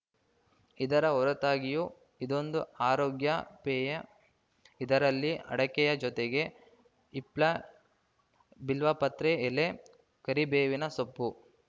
ಇದರ ಹೊರತಾಗಿಯೂ ಇದೊಂದು ಆರೋಗ್ಯ ಪೇಯ ಇದರಲ್ಲಿ ಅಡಕೆಯ ಜೊತೆಗೆ ಹಿಪ್ಲಾ ಬಿಲ್ವಪತ್ರೆ ಎಲೆ ಕರಿಬೇವಿನ ಸೊಪ್ಪು